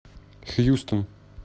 хьюстон